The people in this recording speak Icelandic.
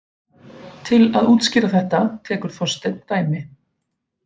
Til að útskýra þetta tekur Þorsteinn dæmi: